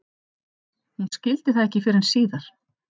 Hún skildi það ekki fyrr en síðar.